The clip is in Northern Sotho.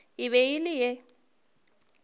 e be e le ye